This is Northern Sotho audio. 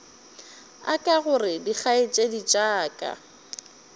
aka gore dikgaetšedi tša ka